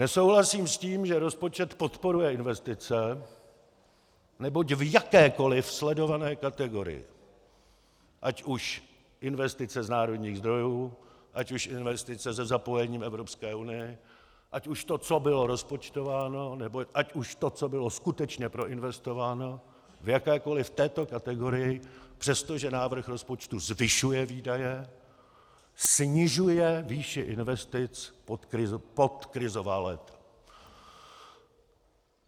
Nesouhlasím s tím, že rozpočet podporuje investice, neboť v jakékoliv sledované kategorii, ať už investice z národních zdrojů, ať už investice se zapojením Evropské unie, ať už to, co bylo rozpočtováno, nebo ať už to, co bylo skutečně proinvestováno v jakékoliv této kategorii, přestože návrh rozpočtu zvyšuje výdaje, snižuje výši investic pod krizová léta.